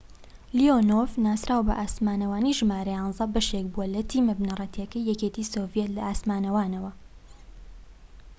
لیۆنۆڤ ناسراو بە ئاسمانەوانی ژمارە ١١ بەشێك بوو لە تیمە بنەڕەتیەکەی یەکێتی سۆڤیەت لە ئاسمانەوانان